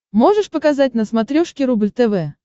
можешь показать на смотрешке рубль тв